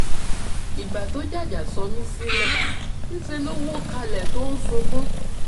ìgbà tó jàjà sọ mí sílẹ̀ níṣẹ́ ló wọ́ kalẹ̀ tó ń sunkún